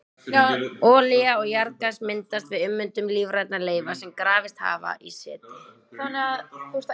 Olía og jarðgas myndast við ummyndun lífrænna leifa sem grafist hafa í seti.